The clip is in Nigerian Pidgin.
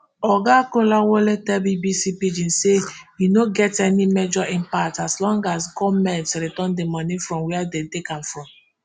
oga kolawole tell bbc pidgin say e no get any major impact as long as goment return di money from wia dem take am from